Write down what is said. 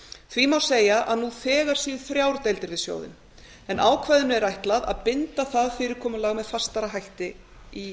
því má segja að nú þegar séu þrjár deildir við sjóðinn en ákvæðinu er ætlað að binda það fyrirkomulag með fastari hætti í